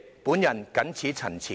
我謹此陳辭。